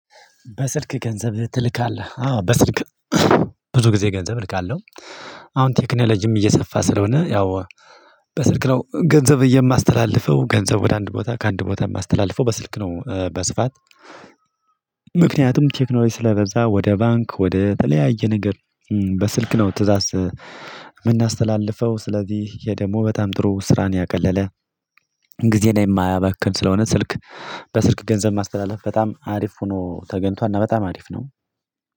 በስልክ ገንዘብ ትልካለህ? አዎ በስልክ ብዙ ጊዜ ገንዘብ እልካለሁ። አሁን ቴክኖሎጂም እየሰፋ ስለሆነ ያው በስልክ ነው ገንዘብ የማስተላልፈው ገንዘብ ወደ አንድ ቦታ ከአንድ ቦታ የማስተላልፈው በስልክ ነው። በስፋት ምክንያቱም ቴክኖሎጂ ስለበዛ ወደ ባንክ ወደ ተለያየ ነገር። በስልክ ነው ትእዛዝ የምናስተላልፈው። ስለዚህ ደግሞ በጣም ጥሩ ስራን ያቀለለ ግዜን የማያበክን ስለሆነ። ስልክ በስልክ ገንዘብ ማስተላለፍ በጣም አሪፍ ሆኖ ተገንቷል እና በጣም አሪፍ ነው።